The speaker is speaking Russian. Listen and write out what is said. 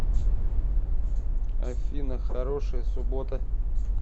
афина хорошей субботы